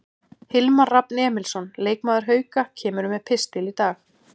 Hilmar Rafn Emilsson, leikmaður Hauka, kemur með pistil í dag.